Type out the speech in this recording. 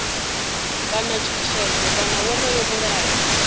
kana tshutshedzo kana wonoyo mulayo